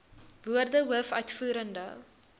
woorde hoof uitvoerende